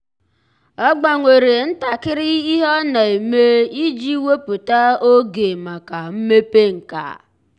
ọ́ gbanwere ntakịrị ihe ọ́ nà-ème iji wèpụ́tá oge màkà mmepe nkà.